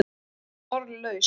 Hún varð orðlaus.